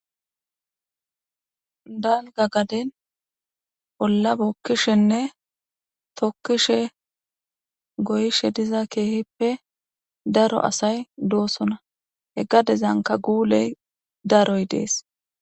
dalga gaden bolla bookkishenne tokkishe goyishe diza keehippe daro asay doosona heggadezanka guuley daroy dees.